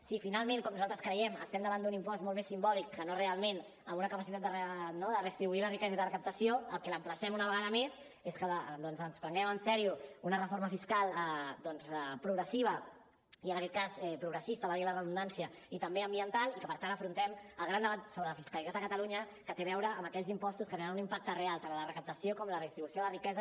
si finalment com nosaltres creiem estem davant d’un impost molt més simbòlic que no realment amb una capacitat de redistribuir la riquesa i de recaptació al que l’emplacem una vegada més és que ens prenguem en sèrio una reforma fiscal progressiva i en aquest cas progressista valgui la redundància i també ambiental i que per tant afrontem el gran debat sobre la fiscalitat a catalunya que té a veure amb aquells impostos que tenen un impacte real tant en la recaptació com en la redistribució de la riquesa